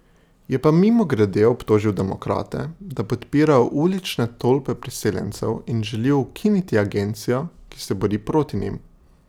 Je pa mimogrede obtožil demokrate, da podpirajo ulične tolpe priseljencev in želijo ukiniti agencijo, ki se bori proti njim.